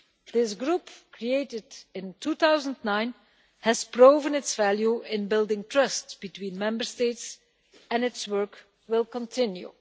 This group, created in 2009, has proven its value in building trust between Member States, and its work will continue.